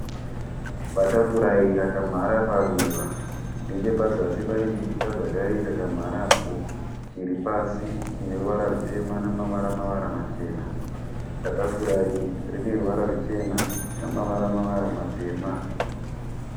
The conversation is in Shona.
Batafurai rakamhara paruva. Nechepazasi pane chipuka zvakare chakamharapo chiri pasi chine ruvara rutema namavara mavara machena. Batafurai rine ruvara ruchena namavara mavara matema.